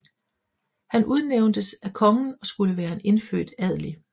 Han udnævntes af kongen og skulle være en indfødt adelig